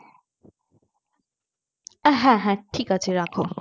হ্যাঁ হ্যাঁ ঠিক আছে রাখো